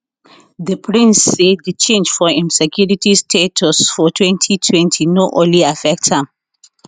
di prince say di change for im security status for 2020 no only affect am